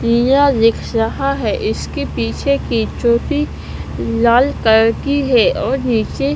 यह रिक्शा है इसके पीछे की चोटी लाल कलर की है और नीचे--